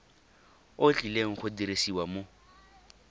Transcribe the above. o tlileng go dirisiwa mo